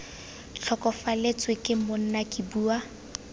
tlhokafalatswe ke monna ke bua